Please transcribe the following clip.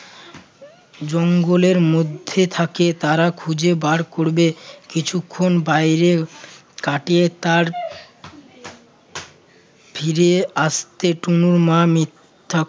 জঙ্গলের মধ্যে থাকে তারা খুঁজে বার করবে? কিছুক্ষণ বাইরে কাটিয়ে তার ফিরে আসতে তনুর মা মিথ্যা